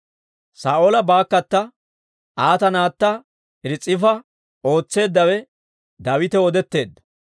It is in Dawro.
Saa'oola baakkata, Aata naatta Ris'ifa ootseeddawe Daawitaw odetteedda.